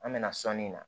An bɛ na sɔnni na